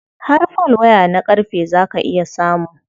Har folwaya na ƙarfe za ka iya samu.